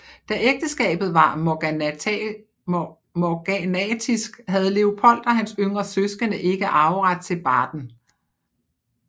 Da ægteskabet var morganatisk havde Leopold og hans yngre søskende ikke arveret til Baden